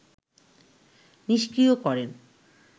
নিস্ক্রিয় করেন